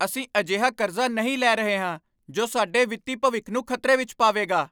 ਅਸੀਂ ਅਜਿਹਾ ਕਰਜ਼ਾ ਨਹੀਂ ਲੈ ਰਹੇ ਹਾਂ ਜੋ ਸਾਡੇ ਵਿੱਤੀ ਭਵਿੱਖ ਨੂੰ ਖ਼ਤਰੇ ਵਿੱਚ ਪਾਵੇਗਾ!